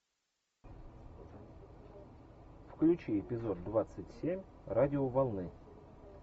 включи эпизод двадцать семь радиоволны